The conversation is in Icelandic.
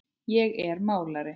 Ég er málari.